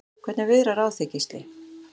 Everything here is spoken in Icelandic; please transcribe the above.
Hvernig viðrar á þig Gísli?